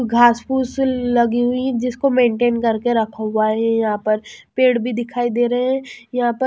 घास फूस लगी हुई है जिसको मेंटेन करके रखा हुआ है यहां पर पेड़ भी दिखाई दे रह है यहां पर--